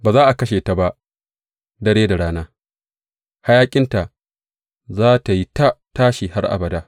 Ba za a kashe ta ba dare da rana; hayaƙinta za tă yi ta tashi har abada.